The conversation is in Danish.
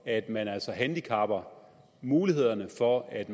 at man altså handicapper mulighederne for at